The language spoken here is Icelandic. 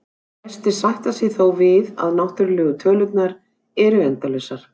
Flestir sætta sig þó við að náttúrlegu tölurnar eru endalausar.